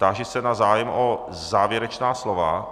Táži se na zájem o závěrečná slova.